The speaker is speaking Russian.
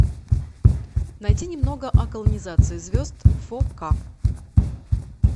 найти немного о колонизации звезд фор ка